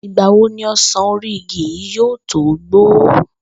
Ìgbà wo ni o̩sàn orí ìgí yìí yóò tó gbó?